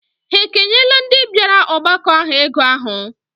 Ha ekenyela ndị bịara ọgbakọ ahụ ego ahụ?